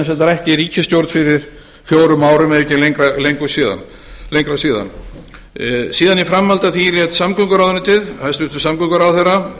sagt rætt í ríkisstjórn fyrir fjórum árum ef ekki er lengra síðan í framhaldi af því lék samgönguráðuneytið hæstvirtur samgönguráðherra